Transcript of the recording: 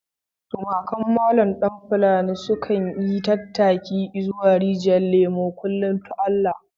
Tumakan Malam Falalu sukan yi tattaki izuwa Rijyar Lemo a kullum ta Allah.